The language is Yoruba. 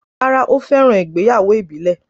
Rárá, ó fẹ́ràn ìgbéyàwó ìbílẹ̀